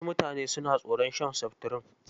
Wasu mutane suna tsoron shan seftirin.